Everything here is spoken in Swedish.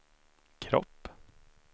kropp